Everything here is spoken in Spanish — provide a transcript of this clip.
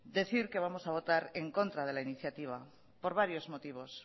decir que vamos a votar en contra de la iniciativa por varios motivos